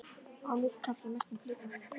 Og mýkt, kannski að mestum hluta mýkt.